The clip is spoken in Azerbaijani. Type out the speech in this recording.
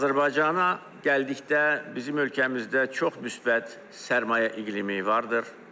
Azərbaycana gəldikdə, bizim ölkəmizdə çox müsbət sərmayə iqlimi vardır.